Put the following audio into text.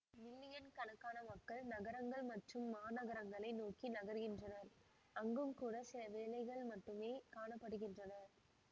million கணக்கான மக்கள் நகரங்கள் மற்றும் மாநகரங்களை நோக்கி நகர்கின்றனர் அங்கும் கூட சில வேலைகள் மட்டுமே காண படுகின்றன